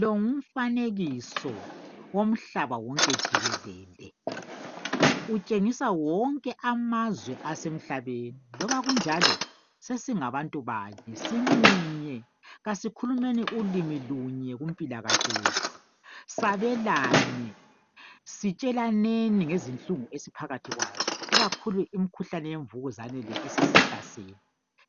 Lowu ngumfanekiso womhlaba wonke jikelele. Utshengisa wonke amazwe asemhlabeni. Loba kunjalo sesingabantu banye, simunye kasikhulumeni ulimi lunye kumpilakahle yethu. Sabelane sitshelaneni ngezinhlungu esiphakathi kwazo ikakhulu imikhuhlane yemvukuzane le esisihlasele.